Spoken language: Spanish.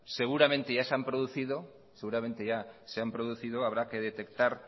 seguramente ya se han producido habrá que detectar